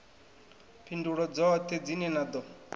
phindulo dzoṱhe dzine na ḓo